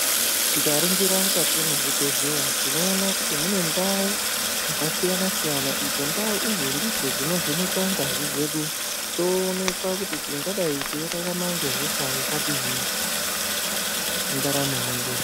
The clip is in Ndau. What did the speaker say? Tikaringira mukati muzvibhedhleya tinoona kuti mune ndau dzakasiyana siyana idzo ndau idzi ndidzo dzinovhenekwe ngazi dzedu toonekwa kuti tingadai teirarama nehosha yakadini mundaramo mwedu.